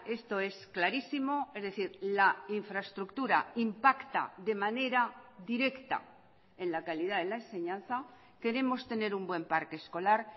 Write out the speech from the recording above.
esto es clarísimo es decir la infraestructura impacta de manera directa en la calidad de la enseñanza queremos tener un buen parque escolar